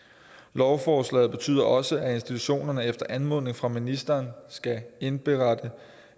lovforslaget betyder også at institutionerne efter anmodning fra ministeren skal indberette